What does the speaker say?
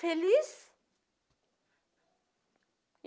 Feliz.